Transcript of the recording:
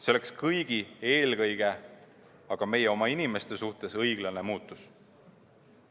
See oleks kõigi, eelkõige aga meie oma inimeste suhtes õiglane muutus.